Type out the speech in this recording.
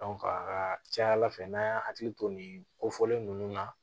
a ka ca ala fɛ n'an y'a hakili to nin kofɔlen ninnu na